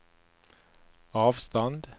avstand